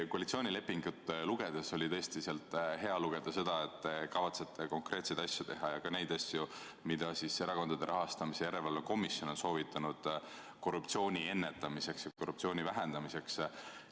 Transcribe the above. Koalitsioonilepingust oli tõesti hea meel lugeda seda, et te kavatsete teha konkreetseid asju ja ka neid asju, mida Erakondade Rahastamise Järelevalve Komisjon on soovitanud korruptsiooni ennetamiseks ja korruptsiooni vähendamiseks.